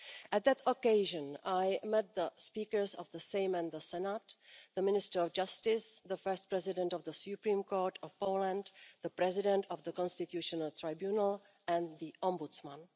At that occasion, I made the speakers of the Sejm and the Senate, the Minister of Justice, the First President of the Supreme Court of Poland, the President of the Constitutional Tribunal, and the Ombudsman.